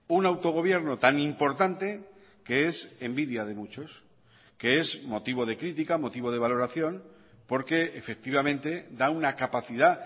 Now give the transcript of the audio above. un autogobierno tan importante que es envidia de muchos que es motivo de crítica motivo de valoración porque efectivamente da una capacidad